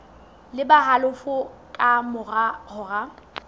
le halofo ka mora hora